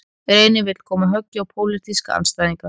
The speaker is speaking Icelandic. Reynir vill koma höggi á pólitíska andstæðinga